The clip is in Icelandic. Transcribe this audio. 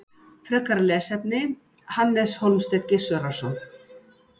Frekara lesefni: Hannes Hólmsteinn Gissurarson.